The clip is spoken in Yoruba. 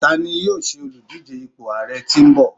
tani yíò ṣe Oludije ipo ààrẹ yin bọ